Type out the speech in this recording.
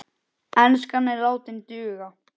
Enskan er látin duga.